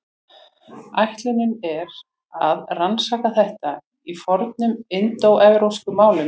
Ætlunin er að rannsaka þetta í fornum indóevrópskum málum.